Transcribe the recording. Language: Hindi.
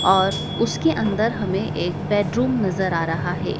और उसके अंदर हमें एक बेडरूम नजर आ रहा है।